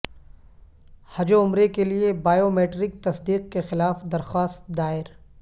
حج و عمرے کے لیے بائیومیٹرک تصدیق کے خلاف درخواست دائر